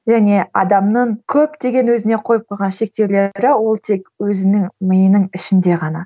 және адамның көптеген өзіне қойып қойған шектеулері ол тек өзінің миының ішінде ғана